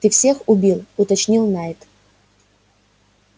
ты всех убил уточнил найд